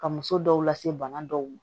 Ka muso dɔw lase bana dɔw ma